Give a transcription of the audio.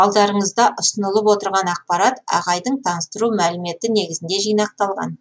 алдарыңызда ұсынылып отырған ақпарат ағайдың таныстыру мәліметі негізінде жинақталған